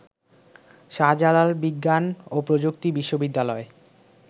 শাহজালাল বিজ্ঞান ও প্রযুক্তি বিশ্ববিদ্যালয়